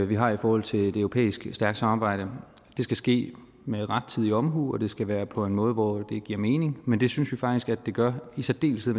vi har i forhold til et europæisk stærkt samarbejde det skal ske med rettidig omhu og det skal være på en måde hvor det giver mening men det synes vi faktisk at det gør i særdeleshed